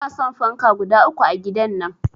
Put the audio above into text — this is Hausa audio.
Inason fanka guda uku a gidan nan